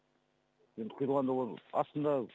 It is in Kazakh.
енді құйылғанда ол астында